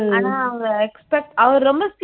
ஆனா அவ expect அவரு ரொம்ப சீ